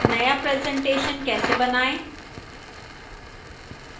नया presentation कैसे बनाएं